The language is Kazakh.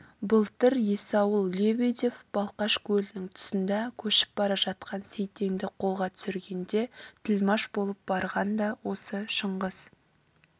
былтыр есаул лебедев балқаш көлінің тұсында көшіп бара жатқан сейтенді қолға түсіргенде тілмаш болып барған да осы шыңғыс